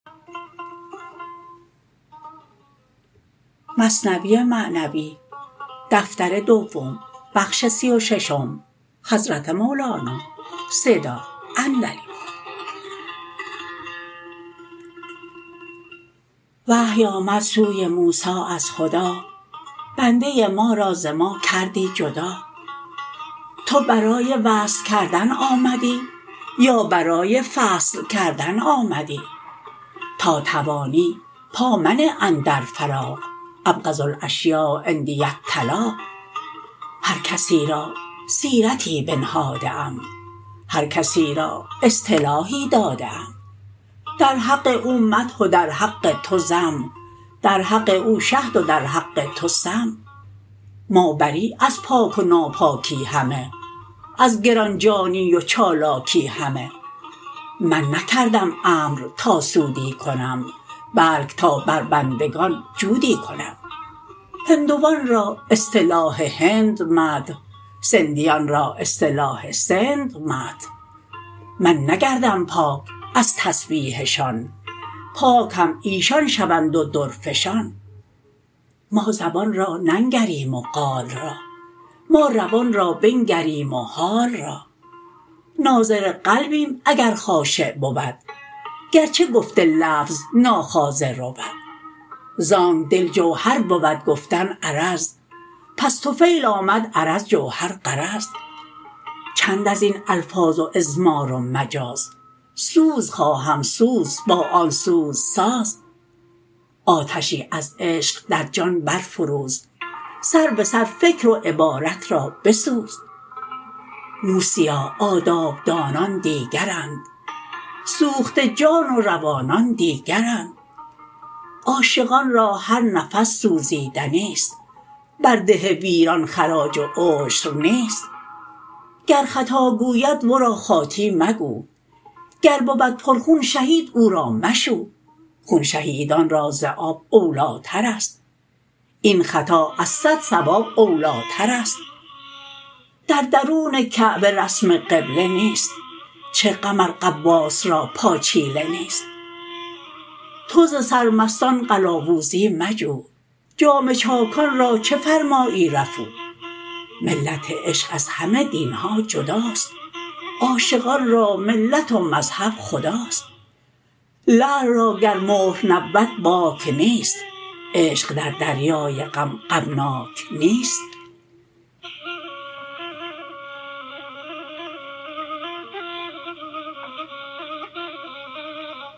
وحی آمد سوی موسی از خدا بنده ما را ز ما کردی جدا تو برای وصل کردن آمدی یا برای فصل کردن آمدی تا توانی پا منه اندر فراق ابغض الاشیاء عندی الطلاق هر کسی را سیرتی بنهاده ام هر کسی را اصطلاحی داده ام در حق او مدح و در حق تو ذم در حق او شهد و در حق تو سم ما بری از پاک و ناپاکی همه از گرانجانی و چالاکی همه من نکردم امر تا سودی کنم بلک تا بر بندگان جودی کنم هندوان را اصطلاح هند مدح سندیان را اصطلاح سند مدح من نگردم پاک از تسبیحشان پاک هم ایشان شوند و درفشان ما زبان را ننگریم و قال را ما روان را بنگریم و حال را ناظر قلبیم اگر خاشع بود گرچه گفت لفظ ناخاضع رود زانک دل جوهر بود گفتن عرض پس طفیل آمد عرض جوهر غرض چند ازین الفاظ و اضمار و مجاز سوز خواهم سوز با آن سوز ساز آتشی از عشق در جان بر فروز سر بسر فکر و عبارت را بسوز موسیا آداب دانان دیگرند سوخته جان و روانان دیگرند عاشقان را هر نفس سوزیدنیست بر ده ویران خراج و عشر نیست گر خطا گوید ورا خاطی مگو گر بود پر خون شهید او را مشو خون شهیدان را ز آب اولیٰ ترست این خطا از صد صواب اولیٰ ترست در درون کعبه رسم قبله نیست چه غم ار غواص را پاچیله نیست تو ز سرمستان قلاوزی مجو جامه چاکان را چه فرمایی رفو ملت عشق از همه دینها جداست عاشقان را ملت و مذهب خداست لعل را گر مهر نبود باک نیست عشق در دریای غم غمناک نیست